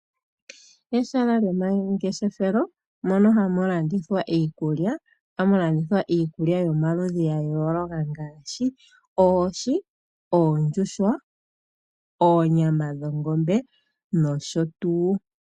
Eshala lomangeshefelo mono hamu landithwa iikulya ohamu landithwa iikulya yomaludhi gaayooloka ngaashi oohi ,oondjuhwa ,onyama yongombe nosho tuu.